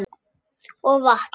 Og vatn.